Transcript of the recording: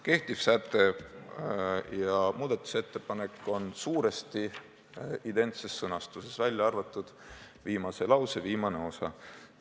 Kehtiv säte ja muudatusettepanek on suuresti identses sõnastuses, välja arvatud viimase lause viimane osa.